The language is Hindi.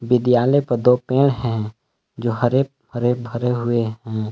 विद्यालय प दो पेड़ हैं जो हरे हरे भरे हुए हैं।